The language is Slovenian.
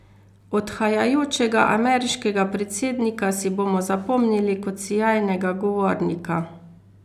Odhajajočega ameriškega predsednika si bomo zapomnili kot sijajnega govornika.